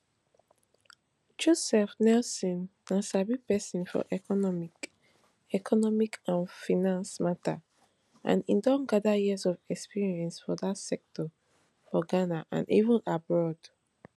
joseph nelson na sabi pesin for economic economic and finance matter and e don gather years of experience for dat sector for ghana and even abroad